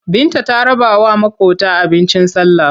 Binta ta rabawa maƙota abincin sallah.